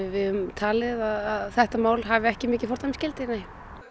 við höfum talið að þetta mál hafi ekki mikið fordæmisgildi nei